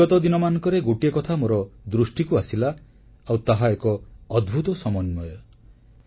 ବିଗତ ଦିନମାନଙ୍କରେ ଗୋଟିଏ କଥା ମୋର ଦୃଷ୍ଟିକୁ ଆସିଲା ଆଉ ତାହା ଏକ ଅଦ୍ଭୁତ ସମନ୍ୱୟ